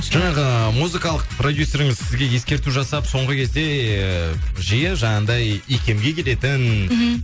жаңағы музыкалық продюсеріңіз сізге ескерту жасап соңғы кезде ыыы жиі жаңағыдай икемге келетін мхм